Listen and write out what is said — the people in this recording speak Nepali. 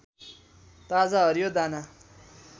ताजा हरियो दाना